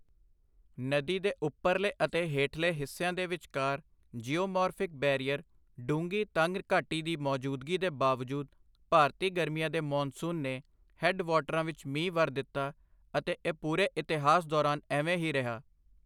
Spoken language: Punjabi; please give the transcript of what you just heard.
ਨਦੀ ਦੇ ਉਪਰਲੇ ਅਤੇ ਹੇਠਲੇ ਹਿੱਸਿਆਂ ਦੇ ਵਿਚਕਾਰ ਜੀਓਮੋਰਫ਼ਿਕ ਬੈਰੀਅਰ ਡੂੰਘੀ, ਤੰਗ ਘਾਟੀ ਦੀ ਮੌਜੂਦਗੀ ਦੇ ਬਾਵਜੂਦ ਭਾਰਤੀ ਗਰਮੀਆਂ ਦੇ ਮੌਨਸੂਨ ਨੇ ਹੈੱਡ ਵਾਟਰਾਂ ਵਿੱਚ ਮੀਂਹ ਵਰ ਦਿੱਤਾ, ਅਤੇ ਇਹ ਪੂਰੇ ਇਤਿਹਾਸ ਦੌਰਾਨ ਐਂਵੇਂ ਹੀ ਰਿਹਾ।